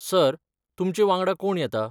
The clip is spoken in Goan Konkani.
सर, तुमचे वांगडा कोण येता?